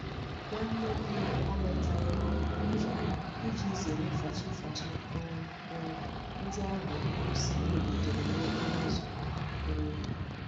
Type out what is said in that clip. Nwa nwanne nne m alotaghi órú n'oge, iji zere fachi fachi um um ndi ahu ngosi iwe butere n'okporo uzo. um